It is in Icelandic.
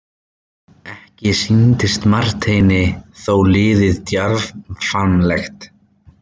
Ekki sýndist Marteini þó liðið djarfmannlegt.